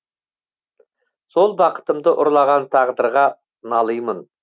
сол бақытымды ұрлаған тағдырға налыймын